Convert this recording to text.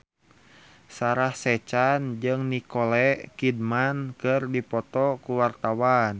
Sarah Sechan jeung Nicole Kidman keur dipoto ku wartawan